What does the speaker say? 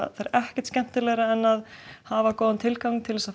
það er ekkert skemmtilegra en að hafa góðan tilgang til að